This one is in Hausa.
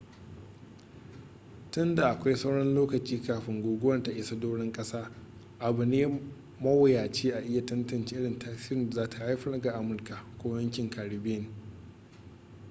tun da akwai sauran lokaci kafin guguwar ta isa doron ƙasa abu ne mawuyaci a iya tantance irin tasirin da za ta haifar ga amurka ko yankin caribbean